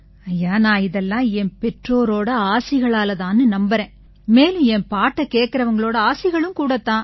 ஐயா நான் இதெல்லாம் என் பெற்றோரோட ஆசிகளால தான்னு நம்பறேன் மேலும் என் பாட்டைக் கேட்கறவங்களோட ஆசிகளும் கூடத் தான்